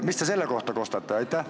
Mis te selle kohta kostate?